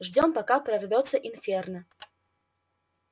ждём пока не прорвётся инферно